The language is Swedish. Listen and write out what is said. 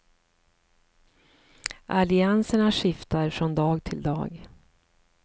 Allianserna skiftar från dag till dag.